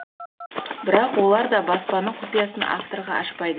бірақ олар да баспаның құпиясын авторға ашпайды